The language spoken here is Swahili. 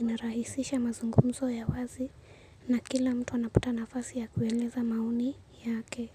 inarahisisha mazungumzo ya wazi na kila mtu anapata nafasi ya kueleza maoni yake.